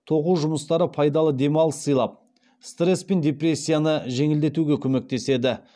тоқу жұмыстары пайдалы демалыс сыйлап стресс пен депрессияны жеңілдетуге көмектеседі